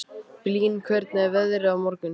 Blín, hvernig er veðrið á morgun?